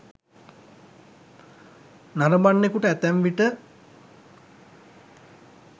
නරඹන්නෙකුට ඇතැම් විට